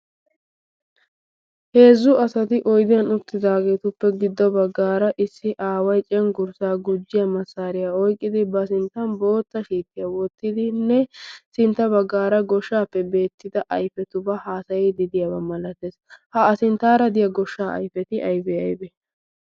Heezzu asati oydiyan uttidaageetuppe giddo baggaara issi aaway cenggurssaa gujjiya massaariyaa oyqqidi ba sinttan bootta shiittiyaa wottidinne sintta baggaara goshshaappe beettida ayfetubaa haasayididiyaabaa malatees. ha a sinttaara diya goshshaa ayfeti aybi aybe?